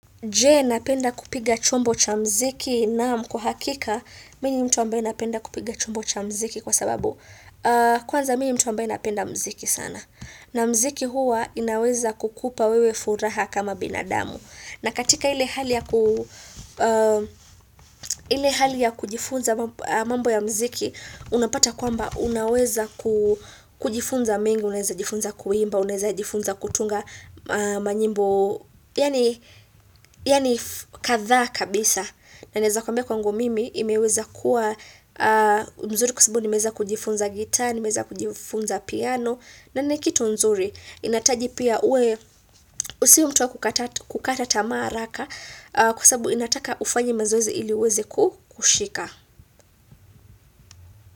Je, napenda kupiga chombo cha mziki? Naam. Kwa hakika, mimi ni mtu mbaye napenda kupiga chombo cha mziki kwa sababu, kwanza mimi ni mtu ambaye napenda mziki sana. Na mziki huwa inaweza kukupa wewe furaha kama binadamu. Na katika ile hali ya kujifunza mambo ya mziki, unapata kwamba unaweza kujifunza mengi, unaweza jifunza kuimba, unaweza jifunza kutunga manyimbo. Yaani kadhaa kabisa na naweza kwambia kwangu mimi imeweza kuwa mzuri kwa sababu nimeza kujifunza guitar nimeweza kujifunza piano na ni kitu mzuri inahitaji pia uwe si mtu wakukata kukata tamaa haraka kwa sababu inataka ufanyi mazoezi iliuweze kushika.